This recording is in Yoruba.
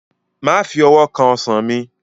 Má fi owó kan Ọsàn mi!